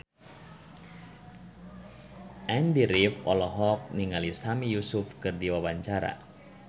Andy rif olohok ningali Sami Yusuf keur diwawancara